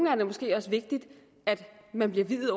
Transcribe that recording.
er det måske også vigtigt at blive viet